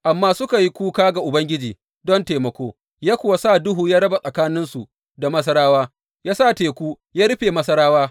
Amma suka yi kuka ga Ubangiji don taimako, ya kuwa sa duhu ya raba tsakaninsu da Masarawa; ya sa teku ya rufe Masarawa.